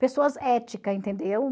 Pessoas ética, entendeu?